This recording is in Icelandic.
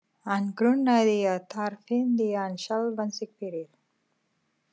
Hann grunaði að þar fyndi hann sjálfan sig fyrir.